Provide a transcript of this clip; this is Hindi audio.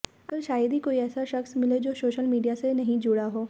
आजकल शायद ही कोई ऐसा शख्स मिले जो सोशल मीडिया से नहीं जुड़ा हो